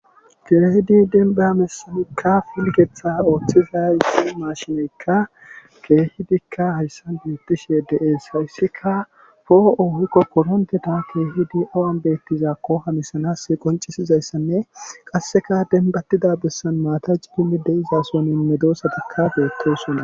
keehidi denba mesanikka filketha ooththiza issi maashineykka keehidikka hayssan beettishe de7ees hawissika foo7o hoykko koronteta keehidi awan beettizakko hamisanass qoncisizayssanne qasseka denbattida bessan maata cipimmi de izason inme doosatikka geettosona